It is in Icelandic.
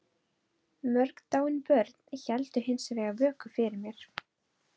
Mörg dáin börn héldu hins vegar vöku fyrir mér.